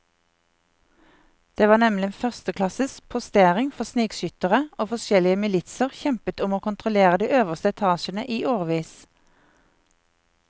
Det var nemlig en førsteklasses postering for snikskyttere, og forskjellige militser kjempet om å kontrollere de øverste etasjene i årevis.